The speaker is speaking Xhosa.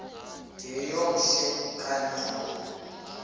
yeyom hle kanyawo